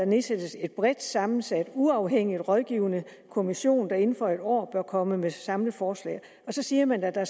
nedsættes en bredt sammensat uafhængig rådgivende kommission der inden for en år bør komme med et samlet forslag så siger man at der